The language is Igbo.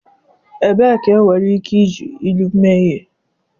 Ebee ka enwere ike iji Ilu mee ihe?